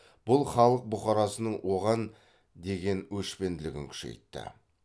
бұл халық бұқарасының оған деген өшпенділігін күшейтті